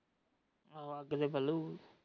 ਹਾਂ ਕਿਵੇ